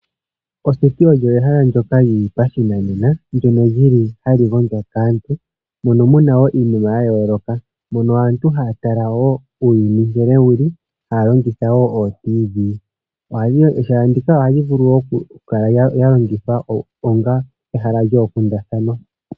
Oseti olyo ehala ndyoka li li pashinanena mono hamu gondjwa kaantu nomu na iinima ya yooloka . Mono aantu haya tala wo uuyuni nkene wu li haya longitha ootiivi. Ehala ndika ohali vulu oku kala lya longithwa onga ehala lyoonkundathana.